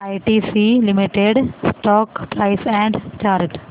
ITC limited stock price and chart